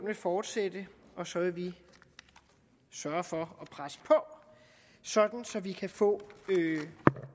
vil fortsætte og så vil vi sørge for at presse på sådan at vi kan få